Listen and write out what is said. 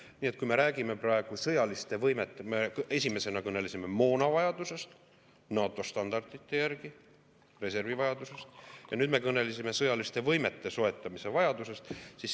Nii et kui me räägime praegu sõjalistest võimetest, siis me esimesena kõnelesime moonavajadusest NATO standardite järgi, reservivajadusest ja nüüd me kõnelesime sõjaliste võimete soetamise vajadusest.